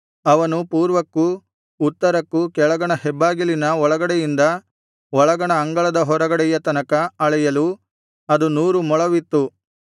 ಅವನು ಪೂರ್ವಕ್ಕೂ ಉತ್ತರಕ್ಕೂ ಕೆಳಗಣ ಹೆಬ್ಬಾಗಿಲಿನ ಒಳಗಡೆಯಿಂದ ಒಳಗಣ ಅಂಗಳದ ಹೊರಗಡೆಯ ತನಕ ಅಳೆಯಲು ಅದು ನೂರು ಮೊಳವಿತ್ತು